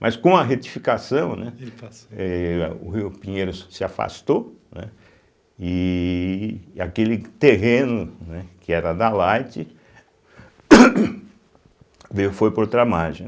Mas com a retificação, né eh o Rio Pinheiro se afastou, né e aquele terreno, né que era da Light veio foi para outra margem, né.